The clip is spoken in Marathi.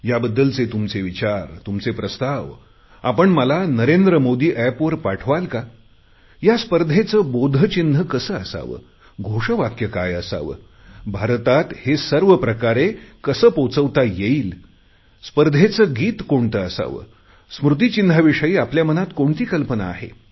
याबद्दलचे तुमचे विचार तुमचे प्रस्ताव आपण मला नरेंद्र मोदी एपवर पाठवाल का या स्पर्धेचे बोधचिन्ह कसे असावे घोषवाक्य काय असावे भारतात हे सर्व कशाप्रकारे पोहचवता येईल स्पर्धेचे गीत कोणते असावे स्मृतीचिन्हाविषयी आपल्या मनात कोणती कल्पना आहे